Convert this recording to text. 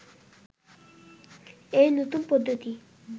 এই নতুন পদ্ধতি